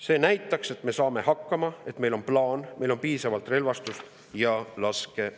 "See näitaks, et me saame hakkama, et meil on plaan, meil on piisavalt relvastust ja laskemoona.